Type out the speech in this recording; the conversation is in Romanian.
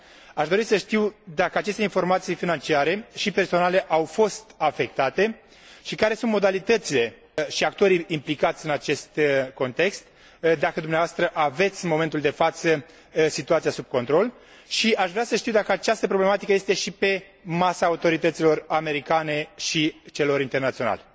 Aș dori să știu dacă aceste informații financiare și personale au fost afectate și care sunt modalitățile și actorii implicați în acest context, dacă dumneavoastră aveți în momentul de față situația sub control și aș vrea să știu dacă această problematică este și pe masa autorităților americane și celor internaționale.